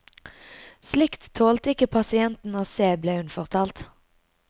Slikt tålte ikke pasientene å se, ble hun fortalt.